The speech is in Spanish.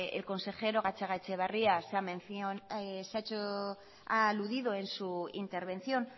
el consejero gatzagaetxebarria ha aludido en su intervención